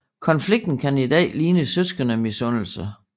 Konflikten kan i dag ligne søskendemisundelse